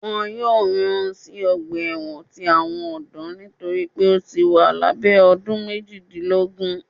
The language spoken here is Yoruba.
Wọn yóò rán sí ọgba ẹwọn tí àwọn ọdọ nitori pe o síi wà labẹ ọdún méjìdínlógún.